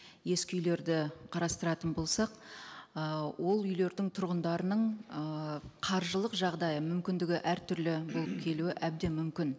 ескі үйлерді қарастыратын болсақ ы ол үйлердің тұрғындарының ыыы қаржылық жағдайы мүмкіндігі әртүрлі болып келуі әбден мүмкін